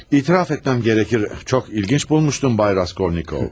Etiraf etməliyəm ki, çox maraqlı bulmuşdum, cənab Raskolnikov.